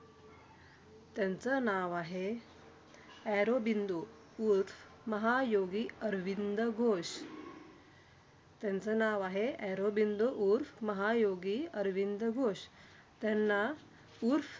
त्यांचं नाव आहे ऑरोबिंदो उर्फ महायोगी अरविंद घोष. त्यांचं नाव आहे ऑरोबिंदो उर्फ महायोगी अरविंद घोष. त्यांना उर्फ